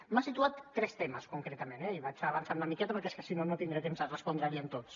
m’ha situat tres temes concretament eh i vaig avançant una miqueta perquè és que si no no tindré temps a respondre li tots